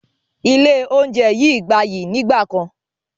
Ilé oúnjẹ yìí gbayyi nígbàkan